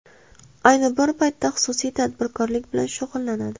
Ayni bir paytda xususiy tadbirkorlik bilan shug‘ullanadi.